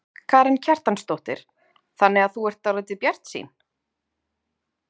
Karen Kjartansdóttir: Þannig að þú ert dálítið bjartsýn?